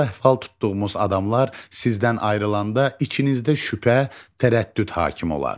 Hal-əhval tutduğumuz adamlar sizdən ayrılanda içinizdə şübhə, tərəddüd hakim olar.